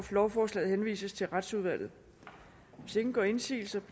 lovforslaget henvises til retsudvalget hvis ingen gør indsigelse